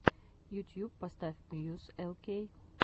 ютьюб поставь мьюз эл кей